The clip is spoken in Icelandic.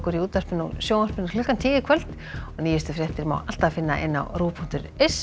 í útvarpi og sjónvarpi klukkan tíu í kvöld og nýjustu fréttir má alltaf finna á rúv punktur is